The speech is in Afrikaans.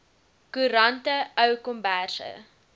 koerante ou komberse